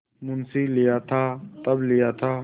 मुंशीलिया था तब लिया था